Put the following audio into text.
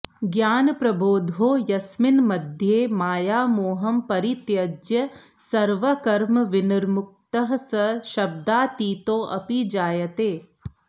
ज्ञानप्रबोधो यस्मिन्मध्ये मायामोहं परित्यज्य सर्वकर्मविनिर्मुक्तः स शब्दातीतोऽपि जायते